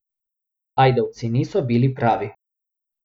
Ajdovci niso bili pravi.